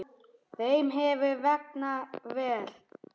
Þeim hefur vegnað vel.